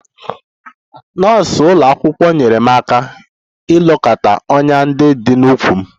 Nọọsụ ụlọ akwụkwọ nyeere m aka ilekọta ọnyá ndị dị n'ụkwụ m